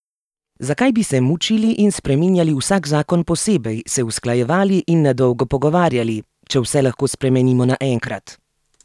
Zakaj bi se mučili in spreminjali vsak zakon posebej, se usklajevali in na dolgo pogovarjali, če vse lahko spremenimo naenkrat?